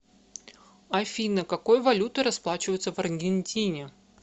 афина какой валютой расплачиваются в аргентине